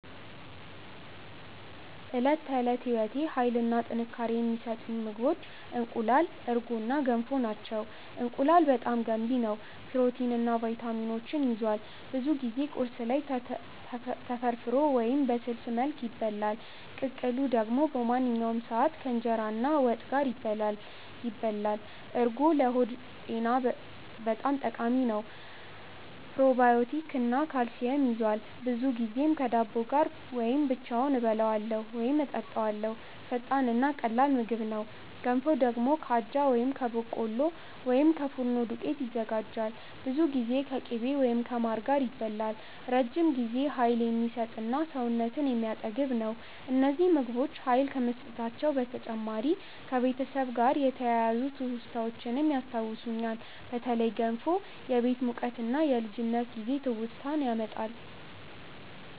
በዕለት ተዕለት ሕይወቴ ኃይል እና ጥንካሬ የሚሰጡኝ ምግቦች እንቁላል፣ እርጎ እና ገንፎ ናቸው። እንቁላል በጣም ገንቢ ነው፣ ፕሮቲን እና ቪታሚኖች ይዟል። ብዙ ጊዜ ቁርስ ላይ ተፈርፍሮ ወይም በስልስ መልክ ይበላል። ቅቅሉ ደግሞ በማንኛውም ሰዓት ከእንጀራ እና ወጥ ጋር ይበላል። እርጎ ለሆድ ጤና በጣም ጠቃሚ ነው። ፕሮባዮቲክ እና ካልሲየም ይዟል፣ ብዙ ጊዜም ከዳቦ ጋር ወይም ብቻውን እበላዋለሁ ወይም እጠጣዋለው። ፈጣን እና ቀላል ምግብ ነው። ገንፎ ደግሞ ከአጃ ወይም ከበቆሎ ወይም ከፉርኖ ዱቄት ይዘጋጃል። ብዙ ጊዜ ከቅቤ ወይም ከማር ጋር ይበላል፣ ረጅም ጊዜ ኃይል የሚሰጥ እና ሰውነትን የሚያጠግብ ነው። እነዚህ ምግቦች ኃይል ከመስጠታቸው በተጨማሪ ከቤተሰብ ጋር የተያያዙ ትውስታዎችንም ያስታውሱኛል። በተለይ ገንፎ የቤት ሙቀት እና የልጅነት ጊዜ ትውስታ ያመጣል።